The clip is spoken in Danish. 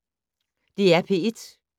DR P1